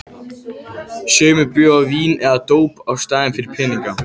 Sumir bjóða vín eða dóp í staðinn fyrir peninga.